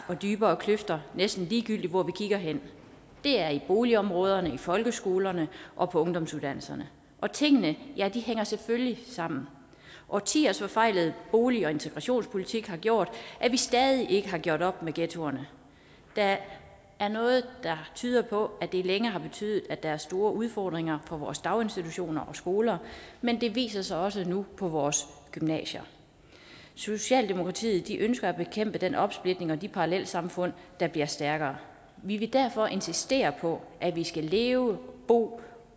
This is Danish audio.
og dybere kløfter næsten ligegyldigt hvor vi kigger hen det er i boligområderne i folkeskolerne og på ungdomsuddannelserne og tingene hænger selvfølgelig sammen årtiers forfejlede bolig og integrationspolitik har gjort at vi stadig ikke har gjort op med ghettoerne der er noget der tyder på at det længe har betydet at der er store udfordringer på vores daginstitutioner og skoler men det viser sig også nu på vores gymnasier socialdemokratiet ønsker at bekæmpe den opsplitning og de parallelsamfund der bliver stærkere vi vil derfor insistere på at vi skal leve bo